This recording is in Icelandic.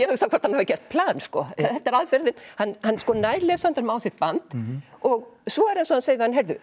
hugsa hvort hann hafi gert plan þetta er aðferðin hann nær lesandanum á sitt band og svo er eins og hann segi